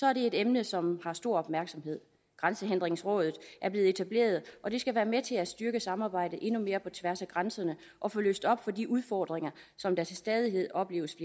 er det et emne som har stor opmærksomhed grænsehindringsrådet er blevet etableret og det skal være med til at styrke samarbejdet endnu mere på tværs af grænserne og få løst op for de udfordringer som der til stadighed opleves